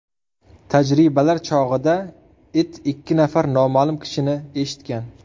Tajribalar chog‘ida it ikki nafar noma’lum kishini eshitgan.